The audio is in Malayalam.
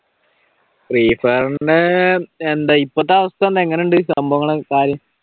ഫ്രീഫയറിന്റെ എന്താ ഇപ്പത്തെ അവസ്ഥ എങ്ങനുണ്ട് സംഭവങ്ങൾ ഒക്കെ കാര്യം?